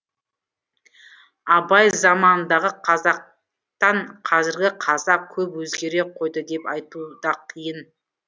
абай заманындағы қазақтан қазіргі қазақ көп өзгере қойды деп айту да қиын